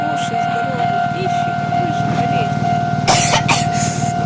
кушай здоровую пищу не будешь болеть